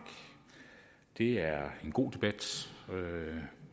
det er en god debat